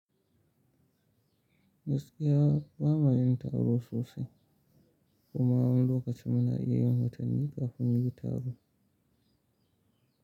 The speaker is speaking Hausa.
Gaskiya ba ma yin taro sosai kuma a wani lokaci muna iya yin watanni kafin muyi taro.